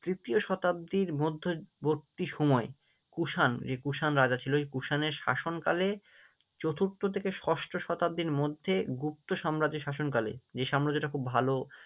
তৃতীয় শতাব্দীর মধ্যবর্তী সময়ে কুষাণ যে কুষাণ রাজা ছিল, ওই কুষাণের শাসনকালে চতুর্থ থেকে ষষ্ঠ শতাব্দীর মধ্যে গুপ্ত সাম্রাজ্যের শাসনকালে যে সাম্রাজ্যটা খুব ভালো